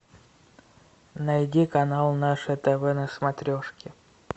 найди канал наше тв на смотрешке